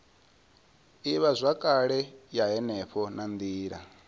ivhazwakale ya henefho na nila